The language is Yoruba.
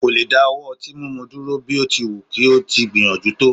kò lè dáwọ́ ọtí mímu dúró, bí ó ti wù kí ó ti gbìyànjú tó